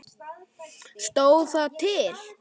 Stóð það til?